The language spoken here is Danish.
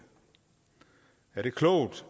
er klogt